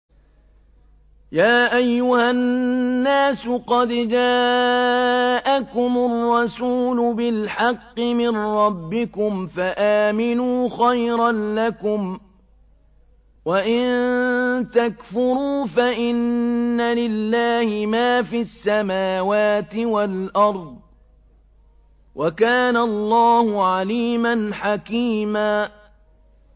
يَا أَيُّهَا النَّاسُ قَدْ جَاءَكُمُ الرَّسُولُ بِالْحَقِّ مِن رَّبِّكُمْ فَآمِنُوا خَيْرًا لَّكُمْ ۚ وَإِن تَكْفُرُوا فَإِنَّ لِلَّهِ مَا فِي السَّمَاوَاتِ وَالْأَرْضِ ۚ وَكَانَ اللَّهُ عَلِيمًا حَكِيمًا